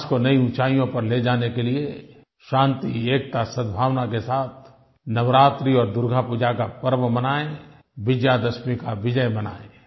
राष्ट्र को नई ऊंचाइयों पर ले जाने के लिये शांति एकता सद्भावना के साथ नवरात्रि और दुर्गापूजा का पर्व मनाएँ विजयादशमी की विजय मनाएँ